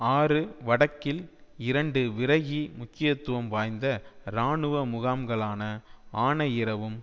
ஆறு வடக்கில் இரண்டு விரகி முக்கியத்துவம் வாய்ந்த இராணுவ முகாம்களான ஆனையிறவும்